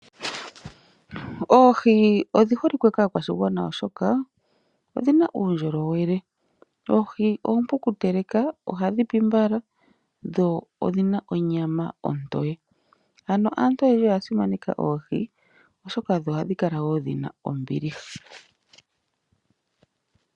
Oohi odhi holikwe kaakwashigwana oshoka odhi na uundjolowele. Oohi oompu okutekela, oha dhi pi mbala dho odhi na onyama ontoye ano aantu oyendji oya simaneka oohi oshoka dho oha dhi kala wo dhi na ombiliha.